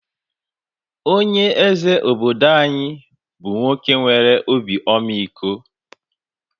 Onye eze obodo anyi bú nwoke nwere obi ọmịiko